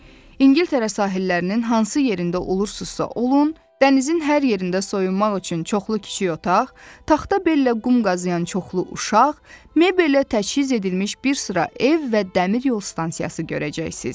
İngiltərə sahillərinin hansı yerində olursunuzsa olun, dənizin hər yerində soyunmaq üçün çoxlu kiçik otaq, taxta bellə qum qazıyan çoxlu uşaq, mebellə təchiz edilmiş bir sıra ev və dəmir yol stansiyası görəcəksiniz.